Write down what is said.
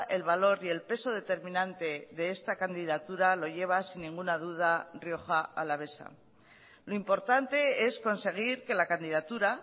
el valor y el peso determinante de esta candidatura lo lleva sin ninguna duda rioja alavesa lo importante es conseguir que la candidatura